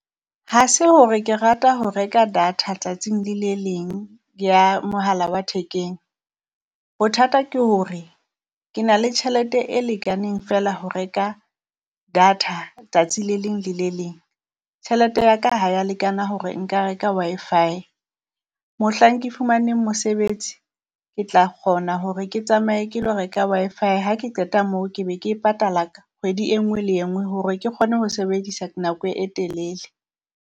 Ha se hore ke rata ho reka data tsatsing le le leng ya mohala wa thekeng, bothata ke hore ke na le tjhelete e lekaneng feela ho reka data tsatsi le leng le le leng. Tjhelete ya ka ha ya lekana hore nka reka Wi-Fi, Mohlang ke fumaneng mosebetsi ke tla kgona hore ke tsamaye ke lo reka Wi-Fi Ha ke qeta moo, ke be ke e patala kgwedi e nngwe le e nngwe hore ke kgone ho sebedisa nako e telele.